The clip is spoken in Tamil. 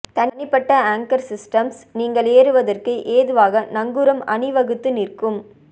தனிப்பட்ட ஆங்கர் சிஸ்டம்ஸ் நீங்கள் ஏறுவதற்கு ஏதுவாக நங்கூரம் அணிவகுத்து நிற்கும்